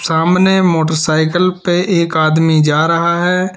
सामने मोटरसाइकिल पर एक आदमी जा रहा है।